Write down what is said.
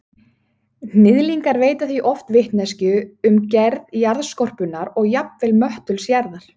Hnyðlingar veita því oft vitneskju um gerð jarðskorpunnar og jafnvel möttuls jarðar.